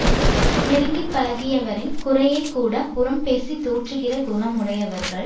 நெருங்கி பழகியவரின் குறையைக்கூடப் புறம் பேசித் தூற்றுகிற குணமுடையவர்கள்